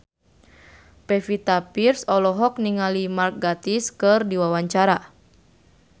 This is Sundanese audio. Pevita Pearce olohok ningali Mark Gatiss keur diwawancara